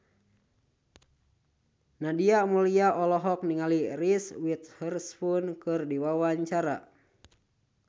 Nadia Mulya olohok ningali Reese Witherspoon keur diwawancara